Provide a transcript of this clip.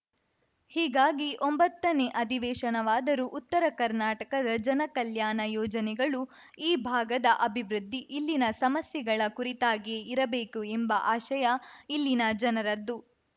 ಹೀಗಾಗಿ ಒಂಬತ್ತನೇ ಅಧಿವೇಶನವಾದರೂ ಉತ್ತರ ಕರ್ನಾಟಕದ ಜನಕಲ್ಯಾಣ ಯೋಜನೆಗಳು ಈ ಭಾಗದ ಅಭಿವೃದ್ಧಿ ಇಲ್ಲಿನ ಸಮಸ್ಯೆಗಳ ಕುರಿತಾಗಿಯೇ ಇರಬೇಕು ಎಂಬ ಆಶಯ ಇಲ್ಲಿನ ಜನರದ್ದು